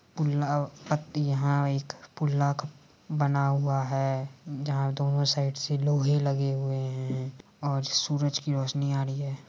पुल्ला पत्ती यहाँ एक पुल्ला का बना हुआ है जहाँ दोनों साइड से लोहे लगे हुए हैं और सूरज की रोशनी आ रही है।